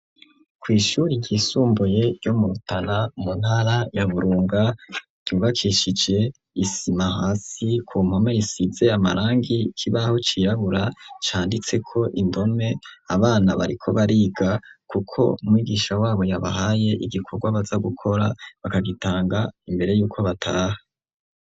Kw'ishuri ryisumbuye ryo muutara mu ntara ya burunga ryubakishije isima hasi ku mpome risizeye amarangi kibaho cirabura canditse ko imbome abana bariko bariga, kuko mwigisha wabo yabahaye igikorwa baza gukora bakagitanga imbere yuko bataha.